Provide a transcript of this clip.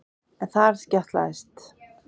En þar skjátlaðist